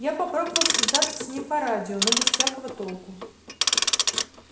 я попробовал связаться с ним по радио но без всякого толку